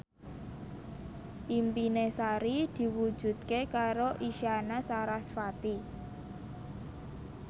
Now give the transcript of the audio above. impine Sari diwujudke karo Isyana Sarasvati